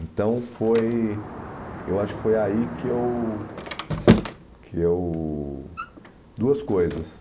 Então foi... Eu acho que foi aí que eu... Que eu... Duas coisas.